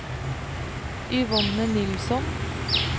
Yvonne Nilsson